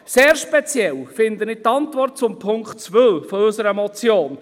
Sehr speziell finde ich die Antwort zu Punkt 2 unserer Motion.